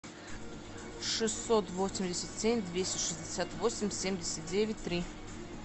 шестьсот восемьдесят семь двести шестьдесят восемь семьдесят девять три